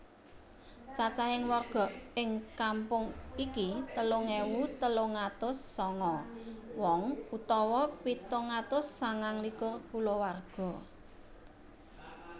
Cacahing warga ing kampung iki telung ewu telung atus sanga wong utawa pitung atus sangang likur kulawarga